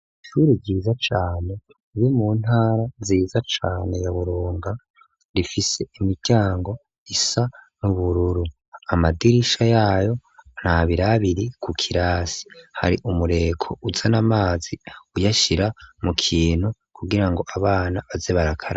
Ishuri ryiza cane riri mu ntara nziza cane ya Buronga. Rifise imiryango isa n'ubururu, amadirisha yayo ni abiri abiri ku kirasi. Hari umureko uzan'amazi uyashira mu kintu, kugira ngo abana baze barakaraba.